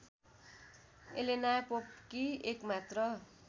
Elena पोपकी एकमात्र